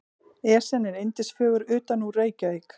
Esjan er yndisfögur utanúr Reykjavík.